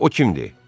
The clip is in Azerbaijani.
O kimdir?